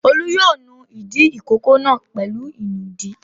Olú yóò nu ìdí ìkókó náà pẹ̀lú ìnùdí.